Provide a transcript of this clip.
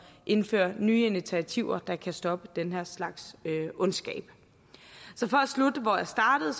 indføre nye initiativer der kan stoppe den her slags ondskab så for at slutte hvor jeg startede